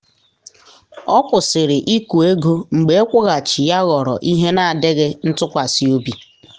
ọ kwụsịrị ịkụ ego mgbe ịkwụghachi ya ghọrọ ihe na adịghị ntụkwasị obi.